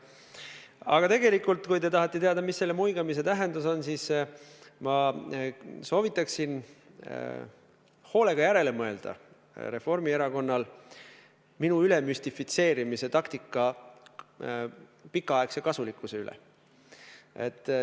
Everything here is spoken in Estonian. Aga tegelikult, kui te tahate teada, mis selle muigamise tähendus on, siis ma soovitan Reformierakonnale hoolega järele mõelda minu ülemüstifitseerimise taktika pikaaegse kasulikkuse üle.